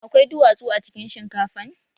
Akwai duwatsu a cikin shinkafan?